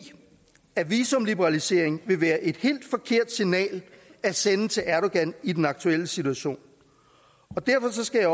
at visumliberalisering vil være et helt forkert signal at sende til erdogan i den aktuelle situation derfor skal